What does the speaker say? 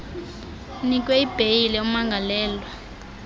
unikwe ibheyile umangalelwe